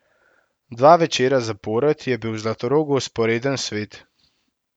Dva večera zapored je bil v Zlatorogu vzporeden svet.